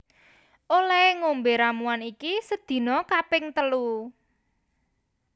Olehe ngombe ramuan iki sedina kaping telu